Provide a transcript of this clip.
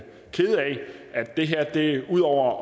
at det her udover